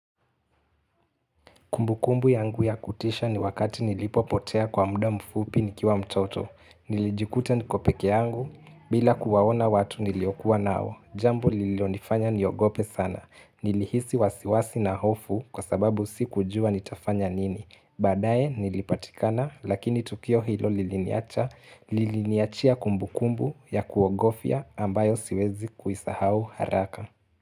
Kumbukumbu yangu ya kutisha ni wakati nilipopotea kwa muda mfupi nikiwa mtoto, nilijikuta niko pekee yangu, bila kuwaona watu niliokua nao, jambo lililonifanya niogope sana, nilihisi wasiwasi na hofu kwa sababu si kujua nitafanya nini, baadaye nilipatikana lakini tukio hilo liliniacha, liliniachia kumbukumbu ya kuogofya ambayo siwezi kuisahau haraka.